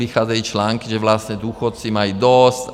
Vycházejí články, že vlastně důchodci mají dost.